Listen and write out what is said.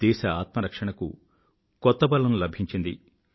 దేశ ఆత్మరక్షణకు కొత్త బలం లభించింది